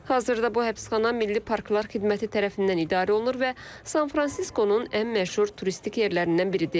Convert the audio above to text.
Hazırda bu həbsxana Milli Parklar xidməti tərəfindən idarə olunur və San Fransiskonun ən məşhur turistik yerlərindən biridir.